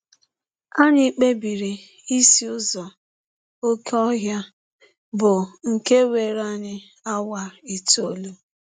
Anyị kpebiri isi ụzọ oké ọhịa, bụ nke were anyị awa itọọlụ.